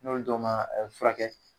N'olu dɔ ma furakɛ